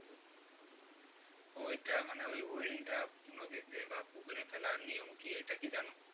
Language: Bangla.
ওইটা মানে ওই wheel টা নদীতে বা পুকুরে ফেলার নিয়ম কি ওইটা কি জানো?